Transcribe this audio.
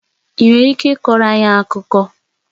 Ị nwere ike ịkọrọ anyị akụkọ?